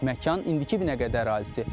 Məkan indiki Binəqədi ərazisi.